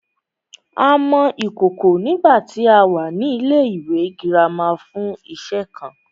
A mọ ìkòkò nígbàtí a wà ní ilẹ́ ìwé girama fún iṣe kan